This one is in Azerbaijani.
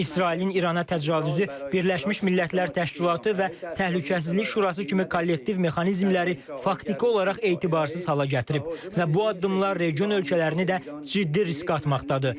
İsrailin İrana təcavüzü Birləşmiş Millətlər Təşkilatı və Təhlükəsizlik Şurası kimi kollektiv mexanizmləri faktiki olaraq etibarsız hala gətirib və bu addımlar region ölkələrini də ciddi risk atmaqdadır.